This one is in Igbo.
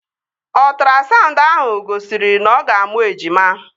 Ọtrasaụndụ ahụ gosiri na-ọga amụ ejima